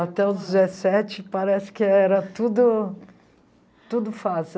Até os dezessete, parece que era tudo tudo fácil.